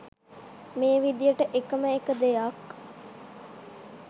මේ විදියට එකම එක දෙයක්